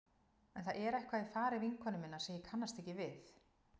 En það er eitthvað í fari vinkonu minnar sem ég kannast ekki við.